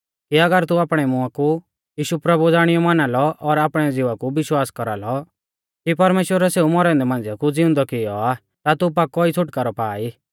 कि अगर तू आपणै मुआं कु यीशु प्रभु ज़ाणियौ माना लौ और आपणै ज़िवा कु विश्वास कौरालौ कि परमेश्‍वरै सेऊ मौरै औन्दै मांझ़िआ कु ज़िउंदौ कियौ आ ता तू पाकौ ई छ़ुटकारौ पा ई